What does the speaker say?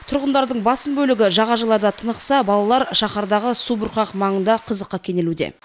тұрғындардың басым бөлігі жағажайларда тынықса балалар шаһардағы субұрқақ маңында қызыққа кенелуде